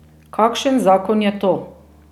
Kakšen zakon je to?